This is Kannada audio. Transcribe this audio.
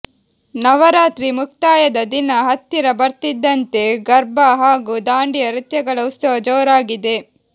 ನವರಾತ್ರಿ ಮುಕ್ತಾಯದ ದಿನ ಹತ್ತಿರ ಬರ್ತಿದ್ದಂತೆ ಗಾರ್ಬಾ ಹಾಗೂ ದಾಂಡಿಯಾ ನೃತ್ಯಗಳ ಉತ್ಸವ ಜೋರಾಗಿದೆ